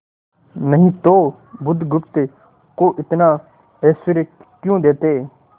नहीं तो बुधगुप्त को इतना ऐश्वर्य क्यों देते